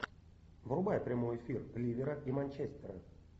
врубай прямой эфир ливера и манчестера